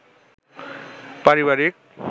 পারিবারিক